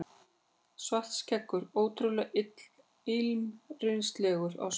Svartskeggur ótrúlega illyrmislegur á svipinn.